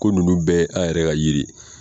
Ko ninnu bɛɛ ye an yɛrɛ ka yiri ye.